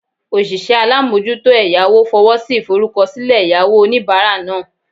Osise alamojuto eyawo fowosi iforukosile eyawo onibara naa